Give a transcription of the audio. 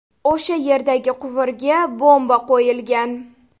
O‘sha yerdagi quvurga bomba qo‘yilgan.